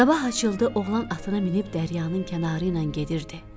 Sabah açıldı, oğlan atına minib dəryanın kənarı ilə gedirdi.